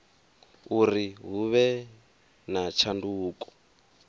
uri hu vhe na tshanduko